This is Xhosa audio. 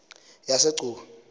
yasegcuwa